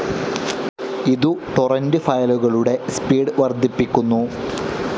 ഇതു ടോറന്റ്‌ ഫയലുകളുടെ സ്പീഡ്‌ വർദ്ധിപ്പിക്കുന്നു.